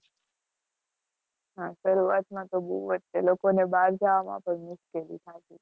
હા, શરૂઆતમાં તો બોવ જ તે, લોકોને બહાર જાવામાં પણ મુશ્કેલી થાતી'તી.